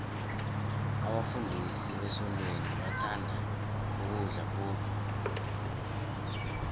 abafundisi besontweni bathanda ukudla khulu